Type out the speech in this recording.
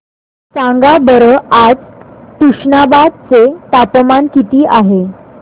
सांगा बरं आज तुष्णाबाद चे तापमान किती आहे